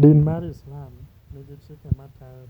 Din mar Islam nigi chike matayo